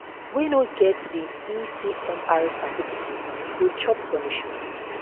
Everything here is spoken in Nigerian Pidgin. wey no get di ecmr certificates go chop punishment